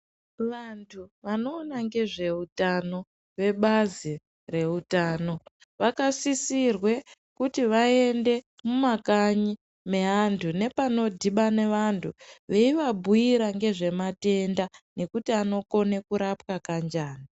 Vantu vanoona ngezveutano vebazi reutano, vakasisirwe kuti vaende mumakanyi meantu nepanodhibane vantu ,veyivabhuyira ngezvematenda nekuti anokone kurapwa kanjani.